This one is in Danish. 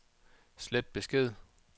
slet besked